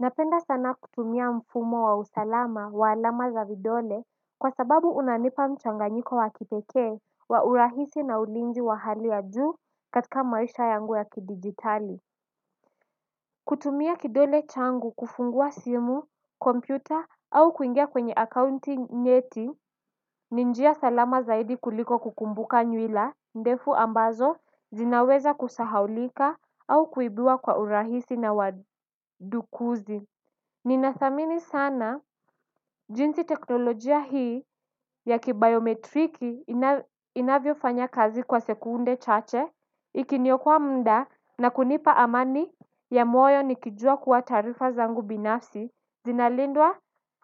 Napenda sana kutumia mfumo wa usalama wa alama za vidole kwa sababu unanipa mchanganyiko wakipekee wa urahisi na ulinzi wa hali ya zu katika maisha yangu ya kidigitali. Kutumia kidole changu kufungua simu, kompyuta au kuingia kwenye akaunti nyeti ni njia salama zaidi kuliko kukumbuka nywila ndefu ambazo zinaweza kusahaulika au kuibiwa kwa urahisi na wadukuzi. Ninathamini sana jinsi teknolojia hii ya kibayometriki inavyofanya kazi kwa sekunde chache ikiniokaa mda na kunipa amani ya moyo nikijua kuwa taarifa zangu binafsi zinalindwa